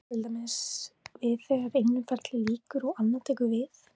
Þetta á til dæmis við þegar einu ferli lýkur og annað tekur við.